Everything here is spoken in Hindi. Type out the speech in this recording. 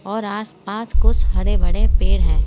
और आस पास कुछ हरे भरे पेड़ हैं।